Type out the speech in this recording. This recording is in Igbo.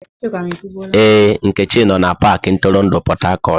Ee, Nkechi no na pakị ntụrụndụ Port Harcourt.